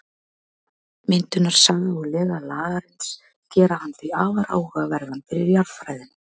Myndunarsaga og lega Lagarins gera hann því afar áhugaverðan fyrir jarðfræðina.